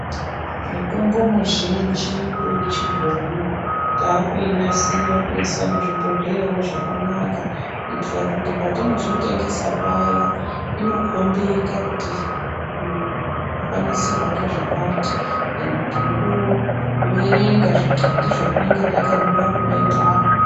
Mutombo muzhinji yechibhoyi taakuinasira toisa muzvibhodhleyawo zvakanaka kuitira kuti patinozotengesa paya inokombeka kuti uyu wakanasirwa ngezvakati ende tinotoverenga zvimwadhii zvatinenge takanyora nyora ipapo.